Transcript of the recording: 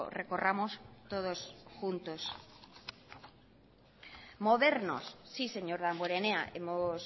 recorramos todos juntos modernos sí señor damborenea hemos